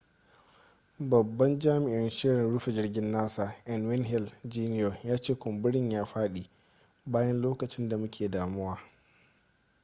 babban jami'in shirin rufe jirgin nasa n wayne hale jr ya ce kumburin ya fadi bayan lokacin da muke damuwa